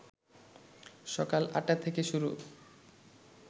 সকাল ৮টা থেকে শুরু